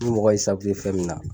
Ni mɔgɔ y'i fɛn min na,